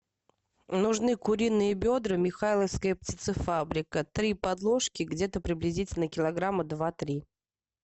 нужны куриные бедра михайловская птицефабрика три подложки где то приблизительно килограмма два три